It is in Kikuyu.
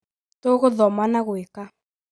tũgũthoma na gũĩka